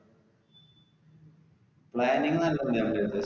planning നല്ലതാണ്